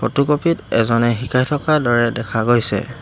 Photocopy ত এজনে শিকাই থকাৰ দৰে দেখা গৈছে।